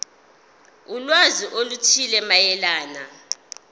ulwazi oluthile mayelana